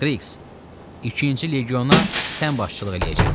Kriks, ikinci legiona sən başçılıq eləyəcəksən.